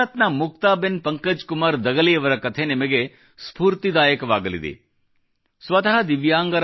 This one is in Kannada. ಗುಜರಾತ್ನ ಮುಕ್ತಾಬೆನ್ ಪಂಕಜ್ಕುಮಾರ್ ದಗಲಿಯವರ ಕಥೆ ನಿಮಗೆ ಸ್ಪೂರ್ತಿದಾಯಕವಾಗಲಿದೆ ಸ್ವತಃ